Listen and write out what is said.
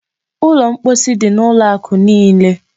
Ụlọ mposi dị n'ụlọ akụ niile.